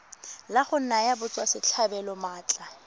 la go naya batswasetlhabelo maatla